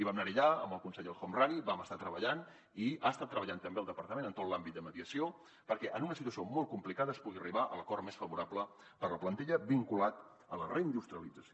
vam anar allà amb el conseller el homrani vam estar treballant i ha estat treballant també el departament en tot l’àmbit de mediació perquè en una situació molt complicada es pugui arribar a l’acord més favorable per la plantilla vinculat a la reindustrialització